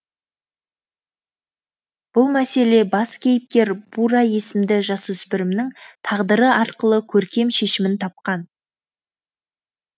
бұл мәселе бас кейіпкер бура есімді жасөсіпірімнің тағдыры арқылы көркем шешімін тапқан